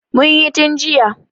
Mun yi tun jiya.